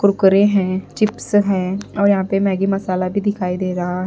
कुरकुरे हैं चिप्स हैं और यहाँ पे मैगी मसाला भी दिखाई दे रहा--